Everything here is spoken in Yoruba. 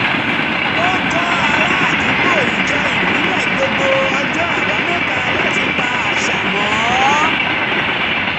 ó kọ́ ará àdúgbò ijó ìbílẹ̀ gbogbo ọjọ́ àbámẹ́ta láti pa àṣà mọ́